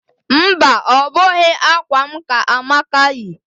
Mba, ọ bụghị akwa m ka Amaka yi